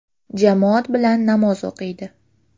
Jamoat bilan namoz o‘qiydi.